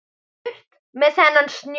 Burt með þennan snjó.